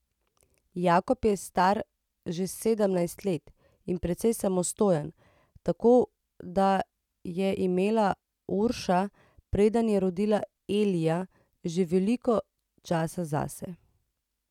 Jakob je star že sedemnajst let in precej samostojen, tako da je imela Urša, preden je rodila Elija, že veliko časa zase.